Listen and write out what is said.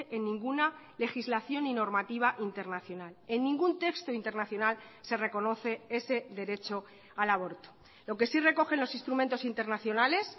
en ninguna legislación y normativa internacional en ningún texto internacional se reconoce ese derecho al aborto lo que sí recogen los instrumentos internacionales